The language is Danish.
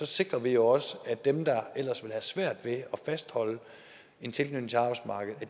sikrer vi også at dem der ellers ville have svært ved at fastholde en tilknytning til arbejdsmarkedet